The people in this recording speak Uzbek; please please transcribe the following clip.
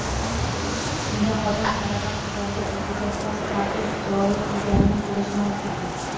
Unda xodim talaba qizlarga o‘ziga xos taqiq joriy qilganini ko‘rish mumkin.